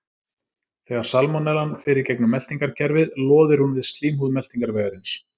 Þegar salmonellan fer í gegnum meltingarkerfið loðir hún við slímhúð meltingarvegarins.